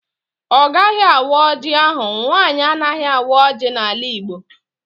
Ọ gaghị awa ọjị ahụ. Nwaanyị anaghị awa ọjị n'ala igbo